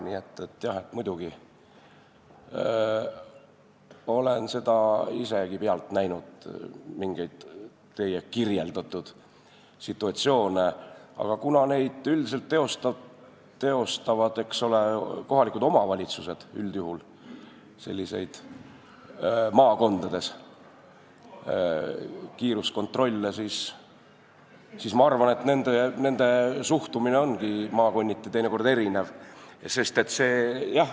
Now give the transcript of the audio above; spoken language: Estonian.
Nii et jah, muidugi, olen isegi pealt näinud mingeid teie kirjeldatud situatsioone, aga maakondades üldiselt teostavad kiiruskontrolle kohalikud omavalitsused ja ma arvan, et nende suhtumine ongi maakonniti teinekord erinev.